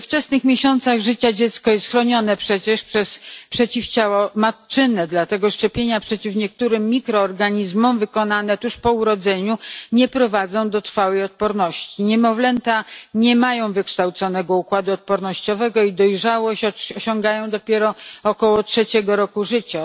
We wczesnych miesiącach życia dziecko jest przecież chronione przez przeciwciała matczyne, dlatego szczepienia przeciw niektórym mikroorganizmom wykonywane tuż po urodzeniu nie prowadzą do trwałej odporności. Niemowlęta nie mają wykształconego układu odpornościowego i jego dojrzałość osiągają dopiero około trzeciego roku życia.